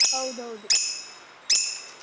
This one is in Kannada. ಹೌದೌದು.